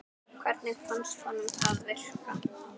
Hvernig fannst honum það virka?